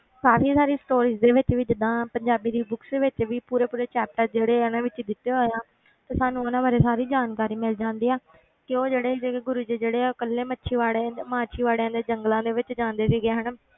ਕਾਫ਼ੀ ਸਾਰੀ stories ਦੇ ਵਿੱਚ ਵੀ ਜਿੱਦਾਂ ਪੰਜਾਬੀ ਦੀ books ਦੇ ਵਿੱਚ ਵੀ ਪੂਰੇ ਪੂਰੇ chapter ਜਿਹੜੇ ਇਹਨਾਂ ਵਿੱਚ ਦਿੱਤੇ ਹੋਏ ਆ ਤੇ ਸਾਨੂੰ ਉਹਨਾਂ ਬਾਰੇ ਸਾਰੀ ਜਾਣਕਾਰੀ ਮਿਲ ਜਾਂਦੀ ਆ ਕਿ ਉਹ ਜਿਹੜੇ ਸੀਗੇ ਗੁਰੂ ਜੀ ਜਿਹੜੇ ਆ ਉਹ ਇਕੱਲੇ ਮੱਛੀਵਾੜੇ ਮਾਸੀਵਾੜੇ ਦੇ ਜੰਗਲਾਂ ਵਿੱਚ ਜਾਂਦੇ ਸੀਗੇ ਹਨਾ,